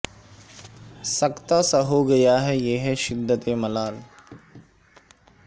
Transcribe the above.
سکتہ سا ہو گیا ہے یہ ہے شدت ملال